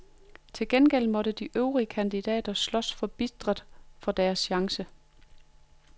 Til gengæld måtte de øvrige kandidater slås forbitret for deres chance.